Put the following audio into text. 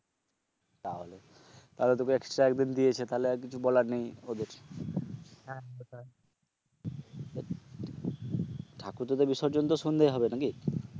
তাহলে, তাহলে তোকে এক্সট্রা একদিন দিয়েছে, তাহলে আর কিছু বলার নেই ওদের, ঠাকুর তোদের বিসর্জন তো সন্ধ্যায় হবে নাকি?